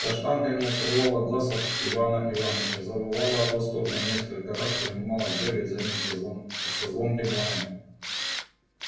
каштанка не открывала глаз от ивана иваныча завывала от восторга и несколько раз принималась бегать за ним со звон со звонким лаем